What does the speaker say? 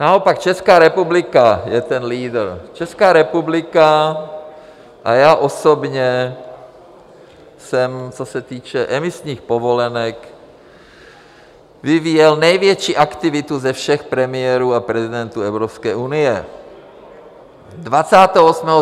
Naopak Česká republika je ten lídr, Česká republika, a já osobně jsem, co se týče emisních povolenek, vyvíjel největší aktivitu ze všech premiérů a prezidentů Evropské unie.